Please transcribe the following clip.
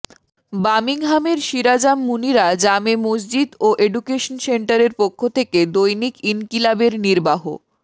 বামিংহামের সিরাজাম মুনিরা জামে মসজিদ ও অ্যাডুকেশন সেন্টারের পক্ষ থেকে দৈনিক ইনকিলাবের নির্বাহ